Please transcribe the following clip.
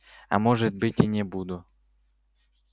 а может быть и не буду